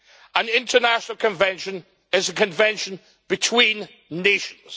An international convention is a convention between nations.